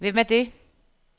Hvem er det